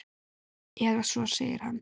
Eða svo segir hann!